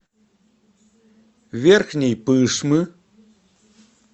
верхней пышмы